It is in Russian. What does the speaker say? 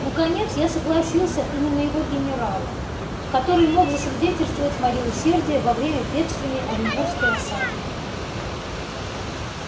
наконец я согласился и на моего генерала который мог засвидетельствовать моё усердие во время бедственной оренбургской осады